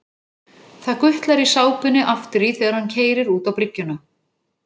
Það gutlar í sápunni aftur í þegar hann keyrir út á bryggjuna.